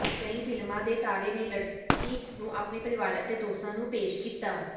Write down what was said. ਕਈ ਫਿਲਮਾਂ ਦੇ ਤਾਰੇ ਨੇ ਲੜਕੀ ਨੂੰ ਆਪਣੇ ਪਰਿਵਾਰ ਅਤੇ ਦੋਸਤਾਂ ਨੂੰ ਪੇਸ਼ ਕੀਤਾ